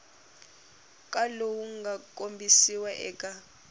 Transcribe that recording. ka lowu nga kombisiwa eka